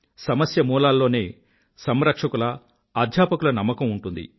సమస్య మూలాల్లోనే సంరక్షకుల అధ్యాపకుల నమ్మకం ఉంటుంది